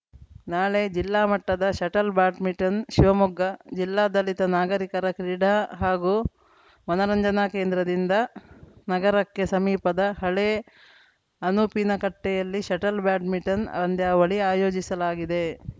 ನಾಳೆ ಜಿಲ್ಲಾಮಟ್ಟದ shuttle badminton Shivamogga ಜಿಲ್ಲಾ ದಲಿತ ನಾಗರೀಕರ ಕ್ರೀಡಾ ಹಾಗೂ ಮನರಂಜನಾ ಕೇಂದ್ರದಿಂದ ನಗರಕ್ಕೆ ಸಮೀಪದ ಹಳೇ ಅನುಪಿನಕಟ್ಟೆಯಲ್ಲಿ ಷಟಲ್‌ ಬ್ಯಾಡ್ಮಿಂಟನ್‌ ಅಂದ್ಯಾವಳಿ ಆಯೋಜಿಸಲಾಗಿದೆ